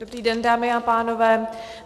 Dobrý den, dámy a pánové.